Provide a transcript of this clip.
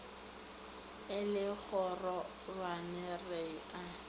e le kgororwane re a